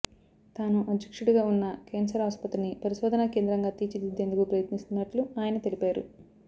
తాను అధ్యక్షుడిగా ఉన్న కేన్సర్ ఆస్పత్రిని పరిశోధనా కేంద్రంగా తీర్చిదిద్దేందుకు ప్రయత్నిస్తున్నట్లు ఆయన తెలిపారు